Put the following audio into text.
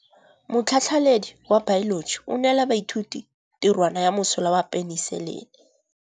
Motlhatlhaledi wa baeloji o neela baithuti tirwana ya mosola wa peniselene.